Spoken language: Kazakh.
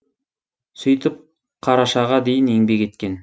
сөйтіп қарашаға дейін еңбек еткен